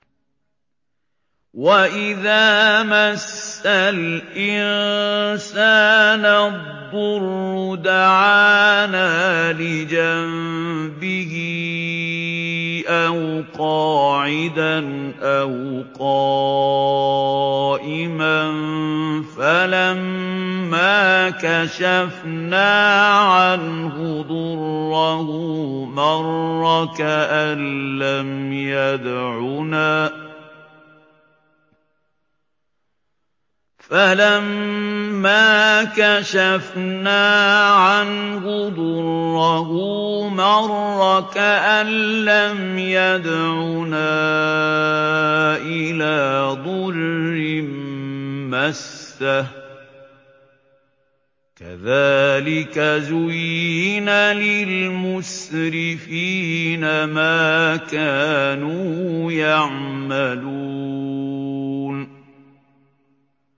وَإِذَا مَسَّ الْإِنسَانَ الضُّرُّ دَعَانَا لِجَنبِهِ أَوْ قَاعِدًا أَوْ قَائِمًا فَلَمَّا كَشَفْنَا عَنْهُ ضُرَّهُ مَرَّ كَأَن لَّمْ يَدْعُنَا إِلَىٰ ضُرٍّ مَّسَّهُ ۚ كَذَٰلِكَ زُيِّنَ لِلْمُسْرِفِينَ مَا كَانُوا يَعْمَلُونَ